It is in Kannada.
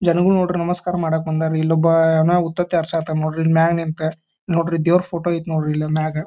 ಜನಗಳು ನೋಡ್ರಿ ನಮಸ್ಕಾರ ಮಾಡಕ್ಕ ಬಂದಾರಿ ಇಲ್ಲೊಬ್ಬ ಯೇನ ಉತ್ತತ್ತಿ ಹಾರ್ಸಾತಾನ್ ನೋಡ್ರಿ ಇಲ್ ಮ್ಯಾಗ್ ನಿಂತ್ ನೋಡ್ರಿ ದೇವರ ಫೋಟೋ ಐತಿ ನೋಡ್ರಿ ಇಲ್ಲಿ ಮ್ಯಾಗ.